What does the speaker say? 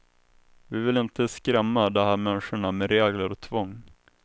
Vi vill inte skrämma de här människorna med regler och tvång.